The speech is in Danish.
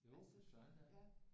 Jo for søren da